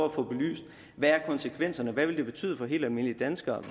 at få belyst hvad er konsekvenserne hvad vil det betyde for helt almindelige danskere